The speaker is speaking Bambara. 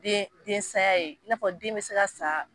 Den den saya ye, n'a fɔ den bɛ se ka sa.